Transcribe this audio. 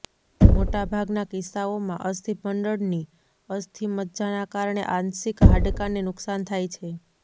મોટાભાગના કિસ્સાઓમાં અસ્થિમંડળની અસ્થિમજ્જાના કારણે આંશિક હાડકાંને નુકસાન થાય છે